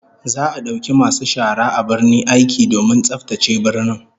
Za'a dauki masu shara a birnin aiki domin tsaftace birnin